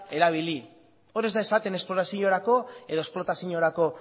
erabili hor ez da esaten esploraziorako edo esplotaziorako